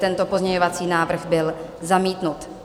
Tento pozměňovací návrh byl zamítnut.